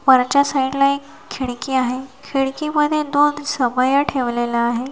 वरच्या साईड ला एक खिडकी आहे खिडकीमध्ये दोन समया ठेवलेला आहे.